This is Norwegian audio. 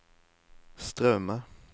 Straume